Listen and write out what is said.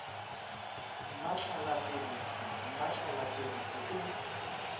mmatlala pebetse mmatlala pebetse o